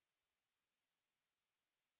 कई callouts प्रदर्शित होते हैं